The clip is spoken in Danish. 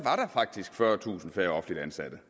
faktisk fyrretusind færre offentligt ansatte